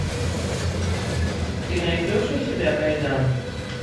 ты найдешь у себя кайдан